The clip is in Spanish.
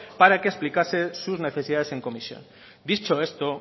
para que explicase sus necesidades en comisión dicho esto